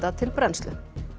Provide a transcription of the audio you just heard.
til brennslu